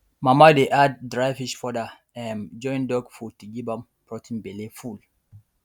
mama dey add dry fish powder um join dog food to give am protein belle full